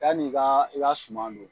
Yanni ka i ka suma don